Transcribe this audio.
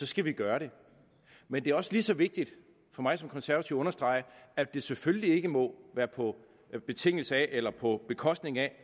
skal vi gøre det men det er også lige så vigtigt for mig som konservativ at understrege at det selvfølgelig ikke må være på betingelse af eller på bekostning af